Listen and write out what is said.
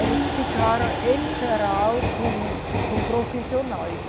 Eles ficaram em geral com, com profissionais.